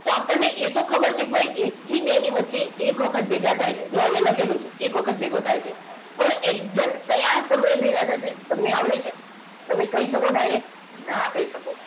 તો આપણને એ તો ખબર છે કે એક થી બે ની વચ્ચે એક વખત ભેગા થાય છે જો અહીંયા લખેલું છે એક વખત ભેગો થાય છે પણ exact કયા સમયે ભેગા થાય છે તમને આવડે છે તમે કહી શકો direct ના કહી શકો